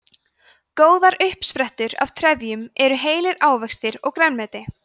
góðar uppsprettur af trefjum eru heilir ávextir og grænmeti